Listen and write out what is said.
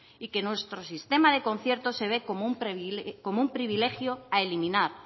y que nuestro sistema de concierto se ve como un privilegio a eliminar